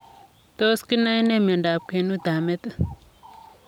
Tos kinae nee miondoop kwenuut ap metit ?